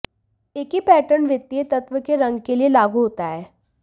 एक ही पैटर्न वित्तीय तत्व के रंग के लिए लागू होता है